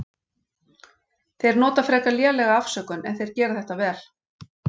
Þeir nota frekar lélega afsökun en þeir gera þetta vel.